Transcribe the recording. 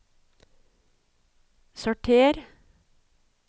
sorter